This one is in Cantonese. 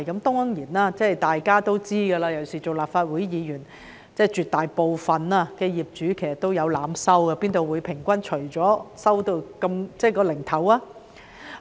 當然大家也知道，尤其作為立法會議員更為清楚，絕大部分業主也有濫收，否則怎會平均計算後總是得出"齊頭數"。